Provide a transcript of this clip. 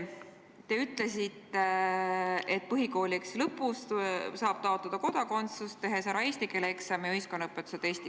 Te ütlesite, et põhikooli lõpus saab taotleda kodakondsust, teinud ära eesti keele eksami ja ühiskonnaõpetuse testi.